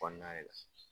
Kɔnɔna yɛrɛ